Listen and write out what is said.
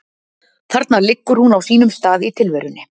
Þarna liggur hún á sínum stað í tilverunni.